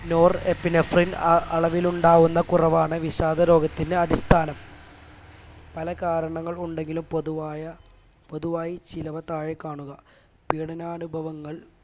nor epinephrine അ അളവിൽ ഉണ്ടാവുന്ന കുറവാണ് വിഷാദ രോഗത്തിന് അടിസ്ഥാനം പല കാരണങ്ങൾ ഉണ്ടെങ്കിലും പൊതുവായ പൊതുവായി ചിലവ താഴെ കാണുക പീഡാനുഭവങ്ങൾ